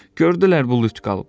Gördülər bu lüt qalıb.